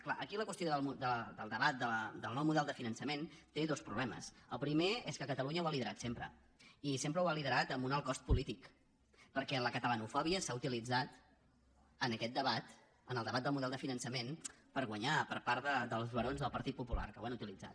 clar aquí la qüestió del debat del nou model de finançament té dos problemes el primer és que catalunya ho ha liderat sempre i sempre ho ha liderat amb un alt cost polític perquè la catalanofòbia s’ha utilitzat en aquest debat en el debat del model de finançament per guanyar per part dels barons del partit popular que ho han utilitzat